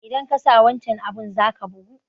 Idan kasa wancan abun zaka bugu